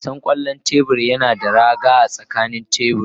Wasan kwallon tebur yana da raga a tsakanin tebur.